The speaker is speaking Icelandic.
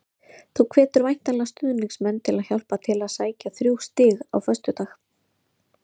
Þú hvetur væntanlega stuðningsmenn til að hjálpa til við að sækja þrjú stig á föstudag?